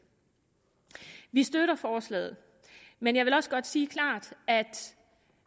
vi støtter forslaget men jeg vil også godt sige klart at